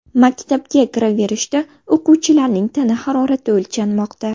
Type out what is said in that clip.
Maktabga kiraverishda o‘quvchilarning tana harorati o‘lchanmoqda.